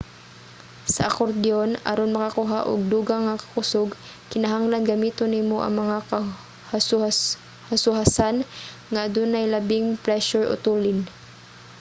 sa akordyon aron makakuha og dugang nga kakusog kinahanglan gamiton nimo ang mga hasohasan nga adunay labing presyur o tulin